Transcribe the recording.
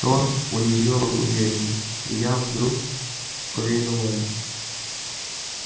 тон у неё был уверенный и я вдруг поверил ольге